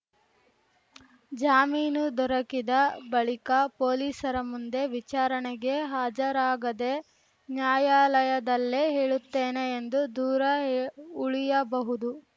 ಜಾಮೀನು ದೊರಕಿದ ಬಳಿಕ ಪೊಲೀಸರ ಮುಂದೆ ವಿಚಾರಣೆಗೆ ಹಾಜರಾಗದೆ ನ್ಯಾಯಾಲಯದಲ್ಲೇ ಹೇಳುತ್ತೇನೆ ಎಂದು ದೂರ ಉಳಿಯಬಹುದು